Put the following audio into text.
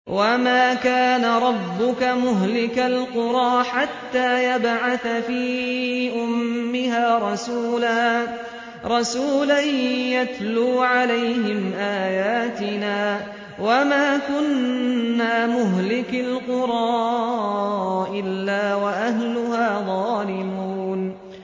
وَمَا كَانَ رَبُّكَ مُهْلِكَ الْقُرَىٰ حَتَّىٰ يَبْعَثَ فِي أُمِّهَا رَسُولًا يَتْلُو عَلَيْهِمْ آيَاتِنَا ۚ وَمَا كُنَّا مُهْلِكِي الْقُرَىٰ إِلَّا وَأَهْلُهَا ظَالِمُونَ